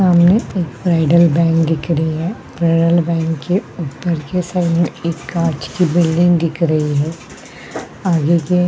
सामने एक Federal Bank दिख रही है फेडरल बँक के उपर की साइड में एक कांच की बिल्डिंग दिख रही है आगे के--